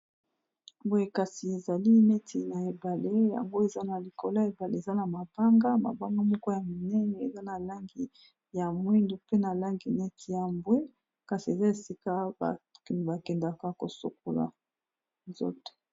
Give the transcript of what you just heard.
Boye kasi ezali neti na ebale yango eza na likolo ya ebale eza na mabanga, mabanga moko ya minene eza na langi ya mwindu mpe na langi neti ya mbwe kasi eza esika bakendaka kosokola nzoto.